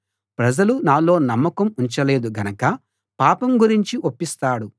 ప్రజలు నాలో నమ్మకం ఉంచలేదు గనక పాపం గురించి ఒప్పిస్తాడు